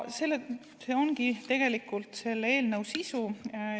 See ongi tegelikult eelnõu sisu.